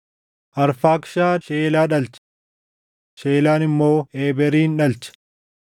Arfaakshad Sheelaa dhalche; Sheelaan immoo Eeberin dhalche.